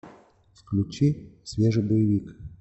включи свежий боевик